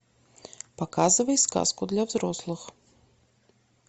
показывай сказку для взрослых